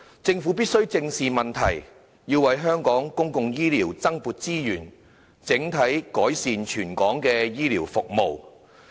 政府必須正視問題，為香港公營醫療增撥資源，改善全港的醫療服務。